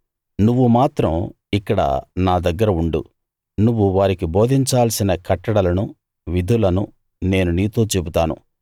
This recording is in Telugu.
నువ్వు మాత్రం ఇక్కడ నా దగ్గర ఉండు నువ్వు వారికి బోధించాల్సిన కట్టడలనూ విధులనూ నేను నీతో చెబుతాను